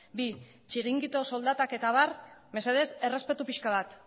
bi txiringito soldatak eta abar mesedez errespetu pixka bat